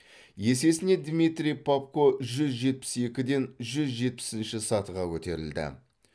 есесіне дмитрий попко жүз жетпіс екіден жүз жетпісінші сатыға көтерілді